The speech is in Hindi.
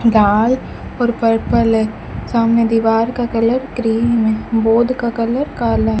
लाल और पर्पल हैं सामने दीवार का कलर क्रीम है बोर्ड का कलर काला --